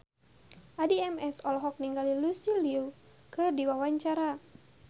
Addie MS olohok ningali Lucy Liu keur diwawancara